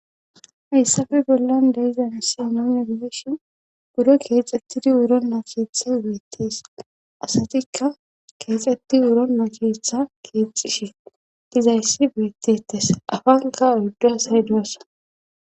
Hayssafe bollan de'iza misile nuni be'ishin buro keexettidi wurona keetha beettes asatikka keexetti wurona keetha keexxishi dizayssi beettetes afanka oydu asay doosona.